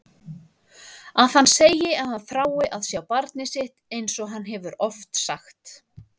Að hann segi að hann þrái að sjá barnið sitt einsog hann hefur oft sagt.